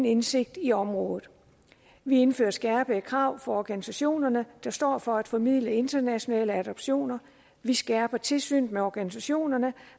indsigt i området vi indfører skærpede krav organisationerne der står for at formidle internationale adoptioner vi skærper tilsynet med organisationerne